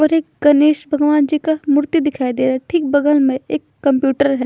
और एक गणेश भगवन जी का मूर्ति दिखाई देरा ठीक बगल में एक कंप्यूटर है।